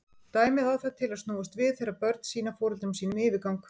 Dæmið á það til að snúast við þegar börn sýna foreldrum sínum yfirgang.